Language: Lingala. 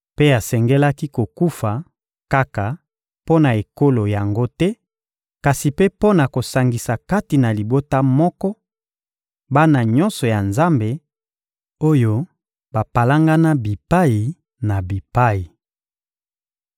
Mpe asengelaki kokufa kaka mpo na ekolo yango te, kasi mpe mpo na kosangisa kati na libota moko, bana nyonso ya Nzambe, oyo bapalangana bipai na bipai.